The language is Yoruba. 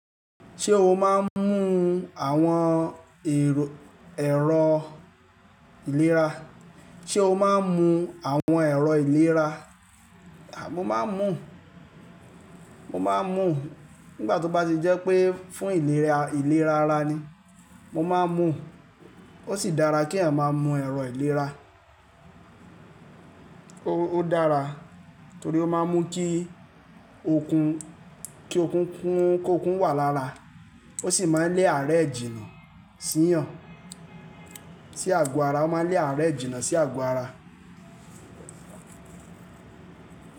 Ṣé o máa ń mu àwọn èrò, ẹ̀rọ ìlera? Sé o máa ń mu àwọn ẹ̀rọ ìlera? À, mo máa ń mu, mo máa ń mu nígbà tó bá ti jẹ́ pé fún ìlera ìlera ara ni mo máa ń mu. Ó sì dára kí à máa mú ẹ̀rọ ìlera. Ó, ó dára torí ó máa ń mú kí okun, kí okun kún, kí okun wà lára. Ó sì máa ń lé àárẹ̀ jìnà sí yàn, sí àgọ ara. Ó máa ń lé àárẹ̀ jìnà sí àgọ ara.